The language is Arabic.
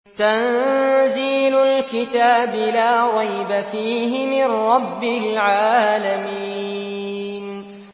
تَنزِيلُ الْكِتَابِ لَا رَيْبَ فِيهِ مِن رَّبِّ الْعَالَمِينَ